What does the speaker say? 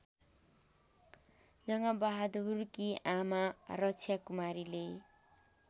जङ्गबहादुरकी आमा रक्षाकुमारीले